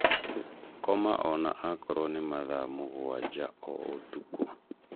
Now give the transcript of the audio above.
Koma ona akorwo nĩ mathaa mũgwanja o ũtukũ.